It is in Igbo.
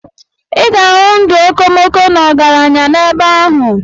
Ị ga-ahụ ndụ okomoko na ọgaranya n'ebe ahụ.